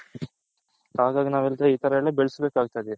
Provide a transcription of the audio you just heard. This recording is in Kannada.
ಹಾಗಾಗಿ ನಾವು ಈ ತರ ಎಲ್ಲಾ ಬೆಳಸ್ಬೇಕ್ ಆಗ್ತದೆ .